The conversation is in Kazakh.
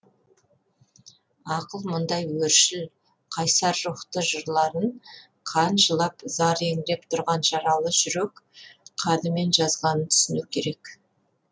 ақын мұндай өршіл қайсар рухты жырларын қан жылап зар еңіреп тұрған жаралы жүрек қанымен жазғанын түсіну керек